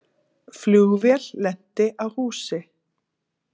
Flugvél lenti á húsi